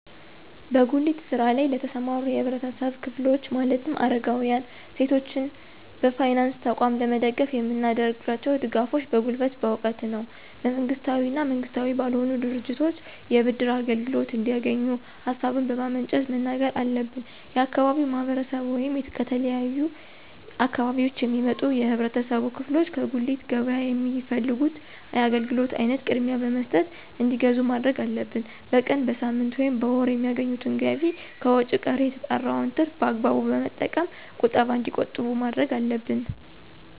በጉሊት ስራ ለይ ለተሰማሩ የህብረተሰብ ክፍሎች ማለትም አረጋውያን፣ ሴቶችን በፋይናንስ ተቋም ለመደገፍ የምናደርጋቸው ድጋፎች በጉልበት፣ በእውቀት ነው። መንግስታዊ እና መንግስታዊ ባልሆኑ ድርጅቶች የብድር አገልግሎት እንዲያገኙ ሀሳቡን በማመንጨት መናገር አለብን። የአካባቢው ማህረሰብ ወይም ከተለያዩ አካባቢዎች የሚመጡ የህብረተሰብ ክፍሎች ከጉሊት ገበያ የሚፈልጉት የአገልግሎት አይነት ቅድሚያ በመስጠት እንዲገዙ ማድረግ አለብን። በቀን፣ በሳምንት፣ ወይም በወር የሚያገኙትን ገቢ ከወጭ ቀሪ የተጣራውን ትርፍ በአግባቡ በመጠቀም ቁጠባ እንዲቆጥቡ ማድረግ አለብን።